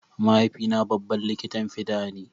Mahaifina babban likitan fida ne.